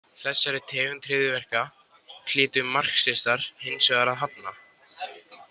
Þessari tegund hryðjuverka hlytu marxistar hins vegar að hafna.